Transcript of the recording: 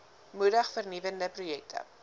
moedig vernuwende projekte